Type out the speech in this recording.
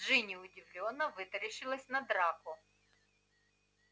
джинни удивлённо вытаращилась на драко